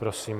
Prosím.